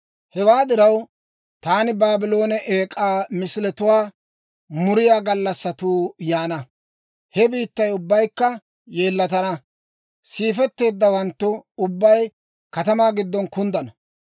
«Hewaa diraw, taani Baabloone eek'aa misiletuwaa muriyaa gallassatuu yaana. He biittay ubbaykka yeellatana; siifetteeddawanttu ubbay katamaa giddon kunddana.